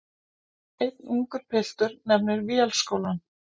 Einn ungur piltur nefnir Vélskólann.